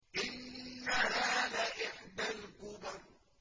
إِنَّهَا لَإِحْدَى الْكُبَرِ